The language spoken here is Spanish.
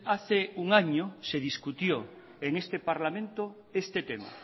hace un año se discutió en este parlamento este tema